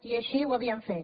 i així ho ha víem fet